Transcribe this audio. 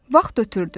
Vaxt ötdü.